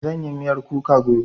Zan yi miyar kuka gobe